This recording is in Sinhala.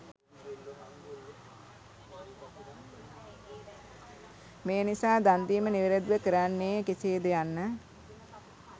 මේ නිසා දන් දීම නිවැරැදිව කරන්නේ කෙසේද යන්න